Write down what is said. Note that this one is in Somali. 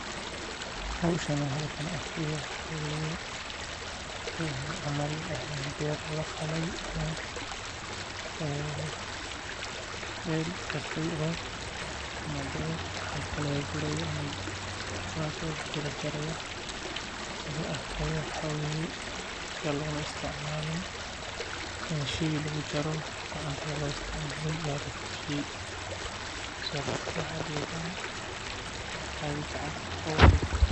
Howshan aan halkan arki haaya waxa waye beer lafale ama meel karte ama beer lagguri haayo ama soo baxeyso wax lama usticmaalin gacanta ayaa lagu jare.